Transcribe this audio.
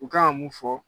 U kan ka mun fɔ